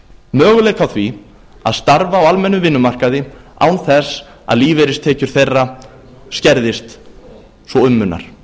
möguleika á því að starfa á almennum vinnumarkaði án þess að lífeyristekjur þeirra skerðist svo um munar